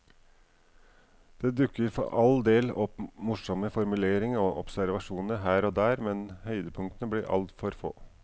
Det dukker for all del opp morsomme formuleringer og observasjoner her og der, men høydepunktene blir altfor få.